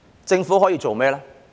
政府可以做甚麼？